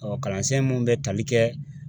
kalansen mun bɛ tali kɛ